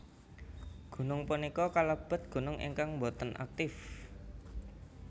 Gunung punika kalebet gunung ingkang boten aktif